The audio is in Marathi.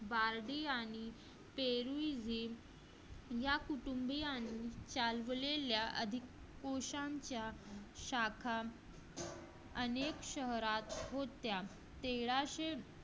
बार्बी आणि पेरू या कुटुंबीयांच्या चालवलेल्या अधिक पुरुषांच्या शाखा अनेक शहरात होत्या.